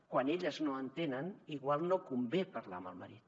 quan elles no entenen potser no convé parlar amb el marit